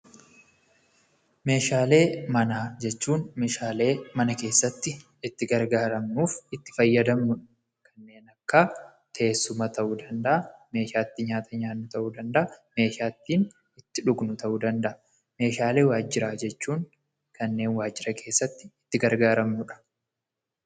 Meeshaalee manaa jechuun meeshaalee mana keessatti itti gargaaramnuuf itti fayyadamnuudha. Kanneen akka teessumaa ta'uu danda'a, meeshaa itti nyaata nyaannu ta'uu danda'a, meeshaa ittiin itti dhugnu ta'uu danda'a. Meeshaalee waajiraa jechuu kanneen waajira keessatti itti gargaaramnuudha.